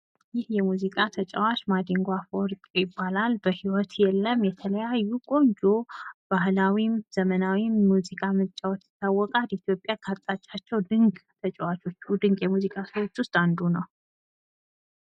ይህ የሙዚቃ ተጫዋች ማዲጎ አፈወርቅ ይባላል። በህይወት የለም የተለያዩ ቆንጆ ባህላዊይም ዘመናዊይም ሙዚቃ በመጫወት ይታወቃል። ኢትዮጵያ ካጣቻቸው ድቅ ተጫዋቾች ድቅ የሙዚቃ ሰዎች ውስጥ አንዱ ነው።